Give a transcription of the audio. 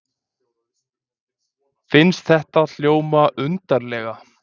Finnst þetta hljóma undarlega.